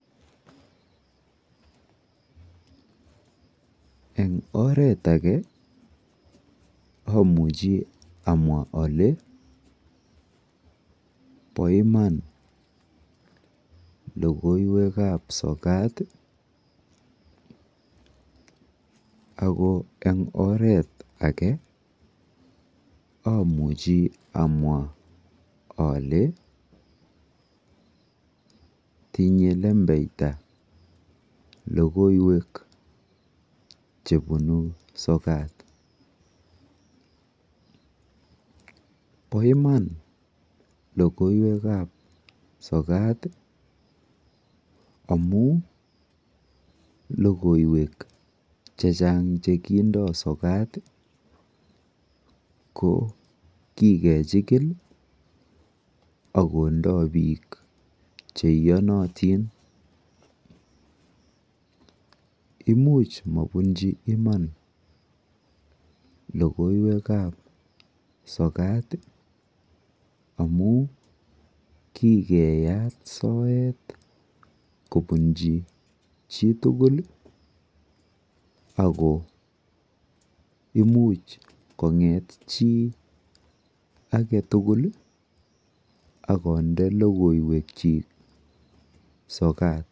Eng' oret age amuchi amwa ale po iman logoiwek ap sokat ako eng' oret age amuchi amwa ale tinye lembechta logoiwek che punu sokat. Pa iman logoiwek ap sokat amu logoiwek che chang' che kindai sokat ko kokechikil ak kondai piik che iyanatin. Imuchi mapunchi iman logoiwek ap sokat amu kikeyat soet kopunchi chi tugul ako imuch kong'et chi age tugul ak konde logoiwekchik sokat.